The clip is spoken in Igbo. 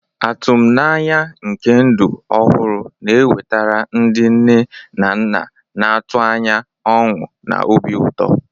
Atụmanya nke ndụ ọhụrụ na-ewetara ndị nne na nna na-atụ anya ọṅụ na obi ụtọ.